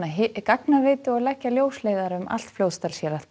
gagnaveitu og leggja ljósleiðara um allt Fljótsdalshérað